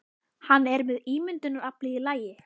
Hann er með ímyndunaraflið í lagi.